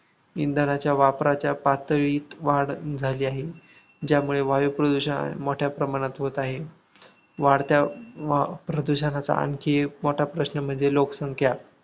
इंधनाच्या वापराच्या पातळीत वाढ झाली आहे. ज्यामुळे वायुप्रदूषण मोठ्या प्रमाणात होत आहे. वाढत्या वाप्रदूषणाचा आणखी एक मोठा प्रश्न म्हणजे लोकसंख्या